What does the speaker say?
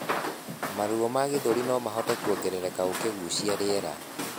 Maruo ma gĩthũri nomahote kuongerereka ukigucia rĩera